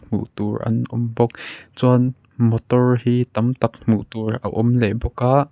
hmuh tur an awm bawk chuan motor hi tam tak hmuh tur a awm leh bawk a.